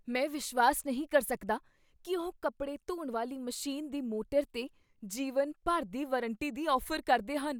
ਮੈਂ ਵਿਸ਼ਵਾਸ ਨਹੀਂ ਕਰ ਸਕਦਾ ਕੀ ਉਹ ਕੱਪੜੇ ਧੋਣ ਵਾਲੀ ਮਸ਼ੀਨ ਦੀ ਮੋਟਰ 'ਤੇ ਜੀਵਨ ਭਰ ਦੀ ਵਾਰੰਟੀ ਦੀ ਔਫ਼ਰ ਕਰਦੇ ਹਨ।